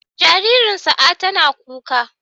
Jaririn Sa'a tana kuka.